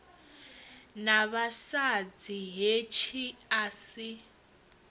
na mavhadzi hetshi a si